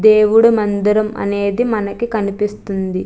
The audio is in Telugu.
దేవుడు మందిరం అనేది మనకి కనిపిస్తుంది.